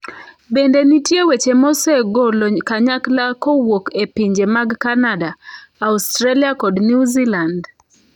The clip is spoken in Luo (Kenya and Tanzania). Bende nitie weche mosegolo kanyakla kowuok e pinje mag Kanada, Australia kod New Zealand.